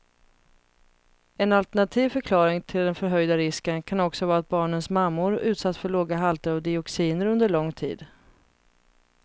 En alternativ förklaring till den förhöjda risken kan också vara att barnens mammor utsatts för låga halter av dioxiner under lång tid.